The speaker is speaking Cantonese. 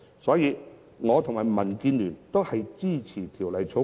所以，我與民建聯均支持《條例草案》。